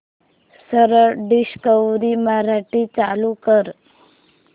सरळ डिस्कवरी मराठी चालू कर